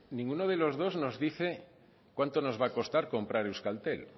ninguno de los dos nos dice cuánto nos va a costar comprar euskaltel